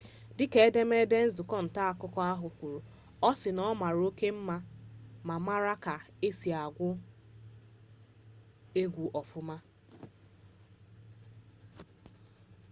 dịka edemede nzukọ nta akụkọ ahụ kwuru ọ sị na ọ mara oke mma ma mara ka esi agụ egwu ọfụma